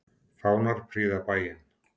Fánar prýða bæinn.